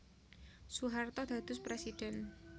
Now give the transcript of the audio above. Soeharto dados Presidhèn